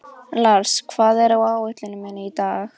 Lars, hvað er á áætluninni minni í dag?